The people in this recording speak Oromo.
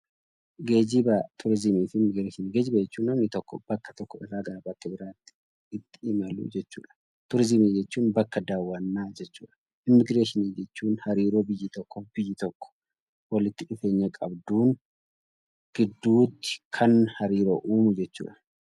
Geejiba turizimii fi immigireeshinii Geejiba jechuun namni tokko bakka tokko irraa gara iddoo biraatti itti imalu jechuudha. Turizimii jechuun bakka daawwannaa jechuudha. Immigireeshinii jechuun yeroo biyyi tokko walitti dhufeenya qabduun jechuudha.